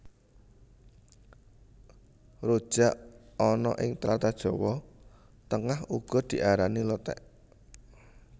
Rujak ana ing tlatah Jawa Tengah uga diarani Lothék